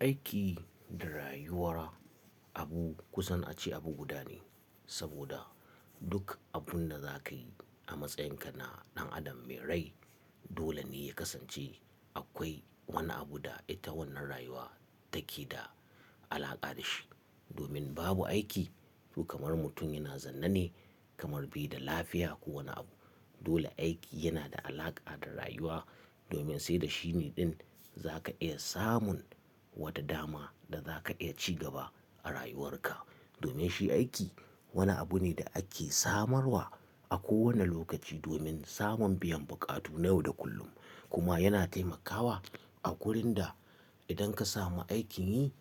Aiki da rayuwa abu kusan a ce abu guda ne, saboda duk abun da za ka yi a matsayinka na ɗan adam mai rai dole ne ya kasance akwai wani abu da ita wannan rayuwa take da alaƙa da shi. Domin babu aiki to kamar mutum yana zanna ne kamar bai da lafiya ko wani abu. Dole aiki yana da alaƙa da rayuwa domin sai da shi ne ɗin za ka iya samun wata dama da za ka iya ci gaba a rayuwarka. Domin shi aiki wani abu ne da ake samarwa a kowane lokaci domin samun biyan buƙatu na yau da kullum. Kuma yana taimakawa a wugurin da idan ka samu aikin yi